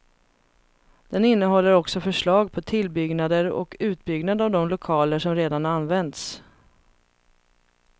Den innehåller också förslag på tillbyggnader och utbyggnad av de lokaler som redan används.